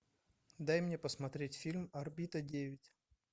дай мне посмотреть фильм орбита девять